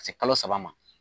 Ka se kalo saba ma